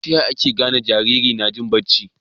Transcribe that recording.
taya ake gane Jariri najin bacci